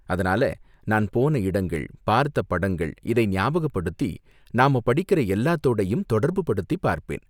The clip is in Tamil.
அதனால, நான் போன இடங்கள், பார்த்த படங்கள் இதை ஞாபகப்படுத்தி நாம படிக்கற எல்லாத்தோடயும் தொடர்புபடுத்தி பார்ப்பேன்.